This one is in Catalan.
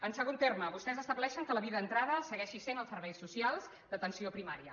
en segon terme vostès estableixen que la via d’entrada segueixin sent els serveis socials d’atenció primària